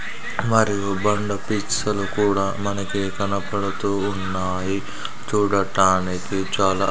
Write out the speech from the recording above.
మరియు బండ పిక్స్ లు కూడా మనకి కనపడుతూ ఉన్నాయి చూడటానికి చాలా--